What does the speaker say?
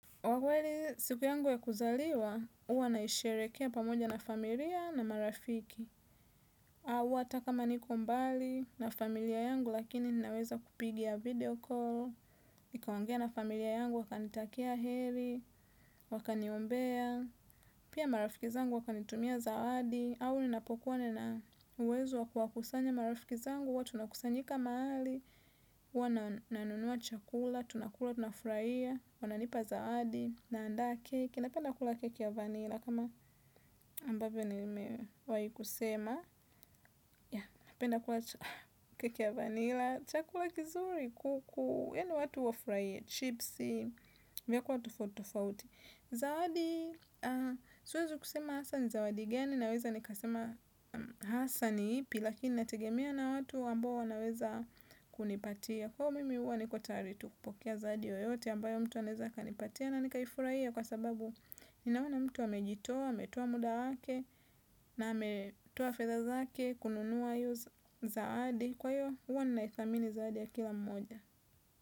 Wa kweli siku yangu ya kuzaliwa, uwa naisherehekea pamoja na familia na marafiki. Au ata kama niko mbali na familia yangu lakini ninaweza kupiga video call. nikaongea na familia yangu wakanitakia heri, wakaniombea. Pia marafiki zangu wakanitumia zawadi. Awu ninapokuwa nina uwezo wakuwakusanya marafiki zangu huwa tunakusanyika mahali. Huwa na nanunua chakula tunakula tunafraia wananipa zawadi naandaa keki napenda kula keki ya vanilla kama ambavyo nimewahi kusema napenda kula keki ya vanilla chakula kizuri kuku yani watu wafurahie chipsi vyakula tofauti tofauti zawadi siwezi kusema hasa ni zawadi gani naweza nikasema hasa ni ipi lakini inategemea na watu ambao wanaweza kunipatia. Kwa mimi uwa niko tayari tu kupokea zawadi yoyote ambayo mtu anaeza akanipatia na nikaifurahia kwa sababu ninaona mtu amejitoa, ametoa muda wake na ametoa fedha zake kununua hiyo zawadi. Kwa hiyo uwa ninaithamini zawadi ya kila mmoja.